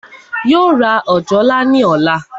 Yóò ra òjòlá ní ọ̀la